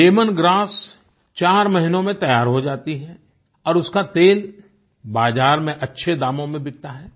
lemon grass चार महीनों में तैयार हो जाती है और उसका तेल बाज़ार में अच्छे दामों में बिकता है